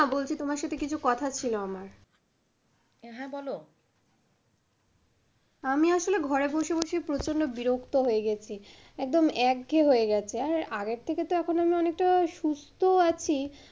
শোনো না তোমার সাথে আমার কিছু কথা ছিল আমার। হ্যাঁ বলো, আমি আসলে ঘরে বসে বসে প্রচন্ড বিরক্ত হয়ে গেছি একদম একঘেয়ে হয়ে গেছে। আর আগের থেকে আমি অনেকটা সুস্থও আছি।